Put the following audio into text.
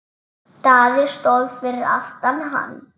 Daði stóð fyrir aftan hann.